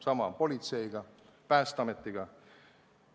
Sama on Politsei- ja Piirivalveameti ning Päästeametiga.